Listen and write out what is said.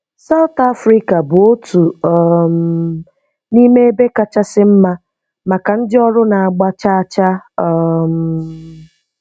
South Afrịka bụ otu um n'ime ebe kachasị mma maka ndị ọrụ na-agba chaa chaa um